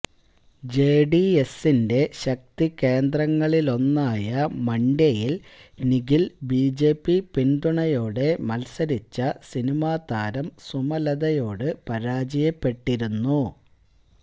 ജെഡിഎസിന്റെ ശക്തി കേന്ദ്രങ്ങളിലൊന്നായ മണ്ഡ്യയിൽ നിഖിൽ ബിജെപി പിൻതുണയോടെ മൽസരിച്ച സിനിമാ താരം സുമലതയോട് പരാജയപ്പെട്ടിരുന്നു